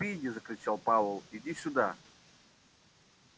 спиди закричал пауэлл иди сюда